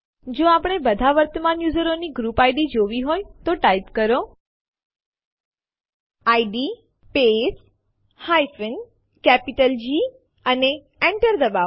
જો આપણે બધા વર્તમાન યુઝરો ની ગ્રુપ ઇડ જોવી હોય તો ટાઈપ કરો ઇડ સ્પેસ જી અને Enter ડબાઓ